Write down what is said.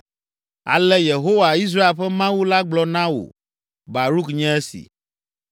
“Ale Yehowa, Israel ƒe Mawu la gblɔ na wò, Baruk nye esi: